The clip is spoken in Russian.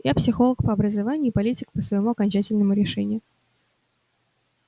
я психолог по образованию и политик по своему окончательному решению